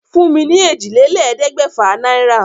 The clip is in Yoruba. Fún mi ní èjìlélẹ́ẹ̀ẹ́dẹ́gbẹ́fà naira.